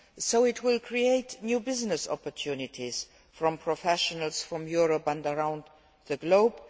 So it will create new business opportunities for professionals from Europe and around the globe.